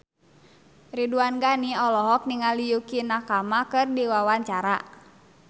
Ridwan Ghani olohok ningali Yukie Nakama keur diwawancara